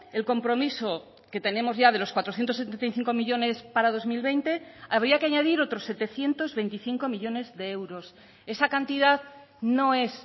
el compromiso que tenemos ya de los cuatrocientos setenta y cinco millónes para dos mil veinte habría que añadir otros setecientos veinticinco millónes de euros esa cantidad no es